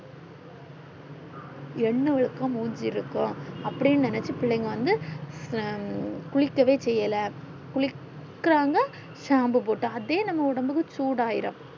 எண்ண வலுக்க முச்சி இருக்கும் அப்டின்னு நெனச்சி பிள்ளைங்க வந்து அஹ் குளிக்கவே சேயிலே குளிக்குராங்க shampoo போட்டு அதே நம்ம ஒடம்புக்கு சூடா ஆய்டும்